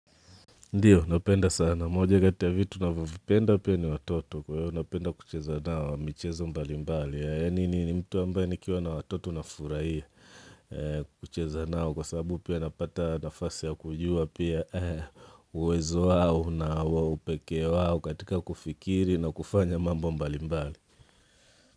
Ndiyo, napenda sana. Moja kati ya vitu navyovipenda pia ni watoto. Kwa hiyo, napenda kucheza nao, michezo mbali mbali. Yaani, mi ni mtu ambaye nikiwa na watoto nafurahia. Kucheza nao, kwa sababu pia napata nafasi ya kujua pia uwezo wao na upekee wao, katika kufikiri na kufanya mambo mbali mbali.